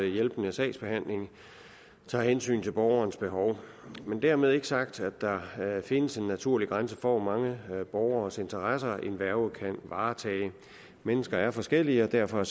hjælpende sagsbehandling tager hensyn til borgerens behov dermed er ikke sagt at der findes en naturlig grænse for hvor mange borgeres interesser en værge kan varetage mennesker er forskellige og derfor er